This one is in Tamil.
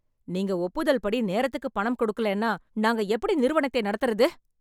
நீங்க ஒப்புதல் படி நேரத்துக்கு பணம் கொடுக்கலேன்னா நாங்க எப்படி நிறுவனத்தை நடத்துறது!